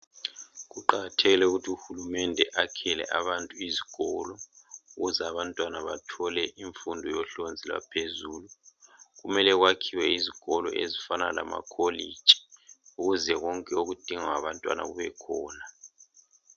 Kuqakathekile ukuthi uhulumende akhele abantu izikolo ukuze abantwana bathole imfundo yohlonzi lwaphezulu. Kumele kwakhiwe izikolo ezifana lama college ukuze konke okudingwa ngabantwana kube khona